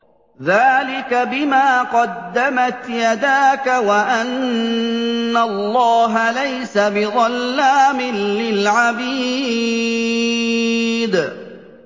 ذَٰلِكَ بِمَا قَدَّمَتْ يَدَاكَ وَأَنَّ اللَّهَ لَيْسَ بِظَلَّامٍ لِّلْعَبِيدِ